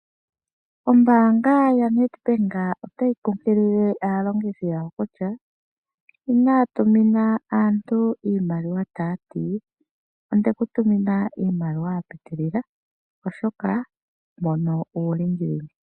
Oombanga yaNedbank otayi kunkilile aalongithi yawo kutya, inaa tumina aantu iimaliwa taati , ondeku tumina iimaliwa ya pitilila, oshoka mbono uulingilingi.